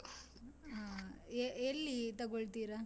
ಹ್ಮ್ ಎಲ್ಲಿ ತಗೋಳ್ತೀರಾ?